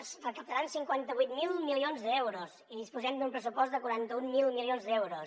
es recaptaran cinquanta vuit mil milions d’euros i disposem d’un pressupost de quaranta mil milions d’euros